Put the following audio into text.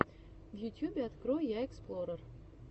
в ютьюбе открой я эксплорер